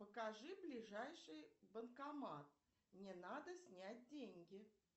покажи ближайший банкомат мне надо снять деньги